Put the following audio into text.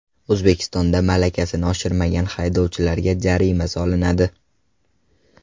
O‘zbekistonda malakasini oshirmagan haydovchilarga jarima solinadi.